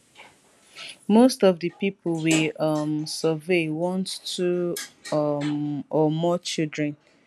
most of di pipo we um survey want two um or more children